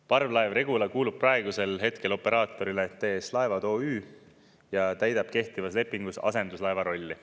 Parvlaev Regula kuulub praegusel hetkel operaatorile TS Laevad OÜ ja täidab kehtivas lepingus asenduslaeva rolli.